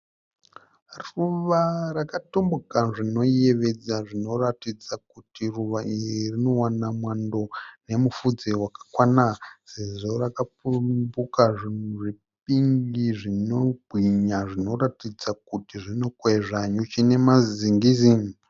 Ruva rakatumbuka zvinoyevedza zvinoratidza kuti ruva iri rinowana mwando nemupfudze wakakwana sezvo rakapumbuka zvinhu zvepink zvinoratidza kuti rinokwezva nyuchi nemazingizi.